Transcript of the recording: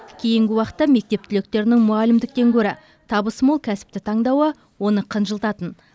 кейінгі уақытта мектеп түлектерінің мұғалімдіктен гөрі табысы мол кәсіпті таңдауы оны қынжылтатын